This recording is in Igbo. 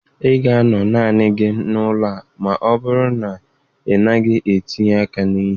Ị ga-anọ naanị gị n'ụlọ a ma ọ bụrụ na ị naghị etinye aka na ihe.